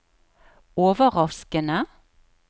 overraskende